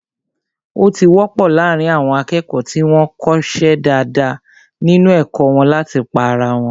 Ó ti wọ́pọ̀ láàrín àwọn akẹ́kọ̀ọ́ tí wọ́n ko ṣe dáadáa nínu ẹ̀kọ́ wọn láti pá ara wọn